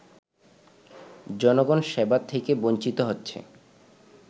জনগণ সেবা থেকে বঞ্চিত হচ্ছে